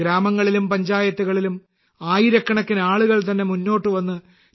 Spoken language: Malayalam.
ഗ്രാമങ്ങളിലും പഞ്ചായത്തുകളിലും ആയിരക്കണക്കിന് ആളുകൾ തന്നെ മുന്നോട്ട് വന്ന് ടി